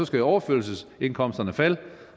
skal overførselsindkomsterne falde